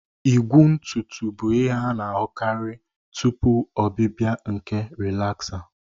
Igwu ntutu bụ ihe a na-ahụkarị tupu ọbịbịa nke rịlaza